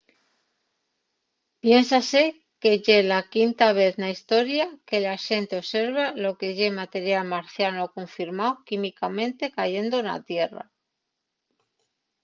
piénsase que ye la quinta vez na historia que la xente observa lo que ye material marciano confirmao químicamente cayendo na tierra